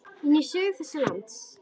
inn í sögu þessa lands.